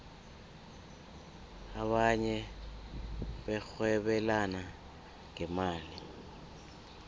abanye barhwebelana ngemali